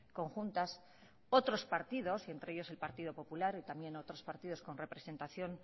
conjuntas otros partidos y entre ellos el partido popular y también otros partidos con representación